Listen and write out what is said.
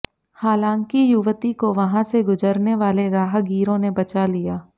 हालांकि युवती को वहां से गुजरने वाले राहगीरों ने बचा लिया